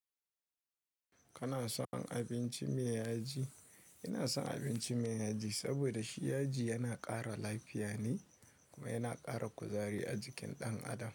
Kana son abinci me yaji? Ina son abinci me yaji, saboda shi yaji yana ƙara lafiya ne kuma yana ƙara kuzari a jikin ɗan adam.